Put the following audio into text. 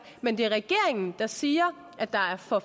men det er regeringen der siger at der er for